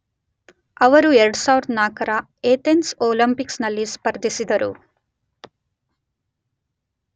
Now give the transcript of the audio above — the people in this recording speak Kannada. ಅವರು 2004 ರ ಅಥೆನ್ಸ್ ಒಲಿಂಪಿಕ್ಸ್ ನಲ್ಲಿ ಸ್ಪರ್ಧಿಸಿದರು